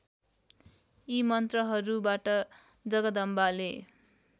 यी मन्त्रहरूबाट जगदम्बाले